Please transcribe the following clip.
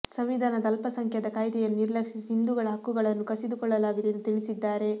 ಸಂವಿಧಾನದ ಅಲ್ಪಸಂಖ್ಯಾತ ಕಾಯ್ದೆಯನ್ನು ನಿರ್ಲಕ್ಷಿಸಿ ಹಿಂದುಗಳ ಹಕ್ಕುಗಳನ್ನು ಕಸಿದುಕೊಳ್ಳಲಾಗಿದೆ ಎಂದು ತಿಳಿಸಿದ್ದಾರೆ